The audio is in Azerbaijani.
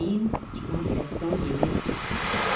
Geyim, kitab, dəftər, yemək çatmırdı.